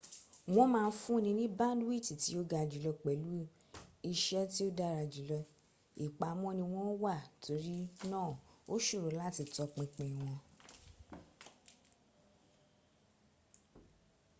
wọ́n ma n fúnni ní báńdíwìtì tí o ga jùlọ pèlú iṣẹ́ tí ó dára jùlọ. ìpamọ́ ni wọ́n wà torí náà ó ṣòro láti tọpinpin wọn